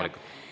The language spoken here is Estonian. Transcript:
Vabandust!